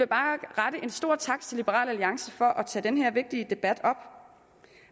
bare rette en stor tak til liberal alliance for at tage den her vigtige debat op